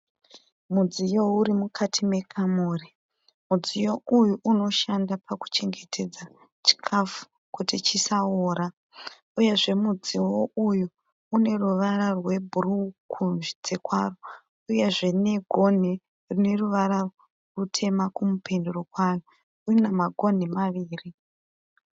Mudziyo uri mukati mekamuri. Mudziyo uyu unoshanda pakuchengetedza chikafu kuti chisaora uyezve mudziyo uyu une ruvara rwebhuruu kunze kwawo uyezve negonhi rine ruvara rutema kumupendero kwawo. Une magonhi maviri.